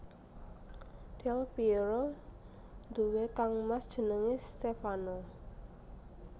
Del Pièro duwé kangmas jenengé Stèfano